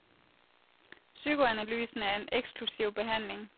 Psykoanalysen er en eksklusiv behandling.